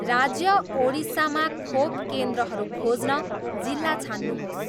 राज्य ओडिसामा खोप केन्द्रहरू खोज्न जिल्ला छान्नुहोस्